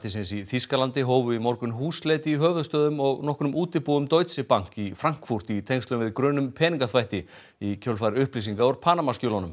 í Þýskalandi hófu í morgun húsleit í höfuðstöðvum og nokkrum útibúum Deutsche Bank í Frankfurt í tengslum við grun um peningaþvætti í kjölfar upplýsinga úr Panamaskjölunum